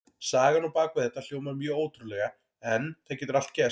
Sagan á bak við þetta hljómar mjög ótrúlega en það getur allt gerst.